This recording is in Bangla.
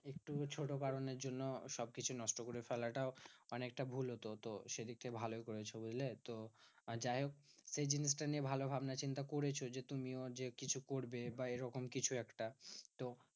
একটু ছোট কারণের জন্য সবকিছু নষ্ট করে ফেলাটাও অনেকটা ভুল হতো। তো সেদিক থেকে ভালোই করেছো বুঝলে? তো যাইহোক সেই জিনিসটা নিয়ে ভালো ভাবনাচিন্তা করেছো যে তুমিও যে কিছু করবে বা এরকম কিছু একটা। তো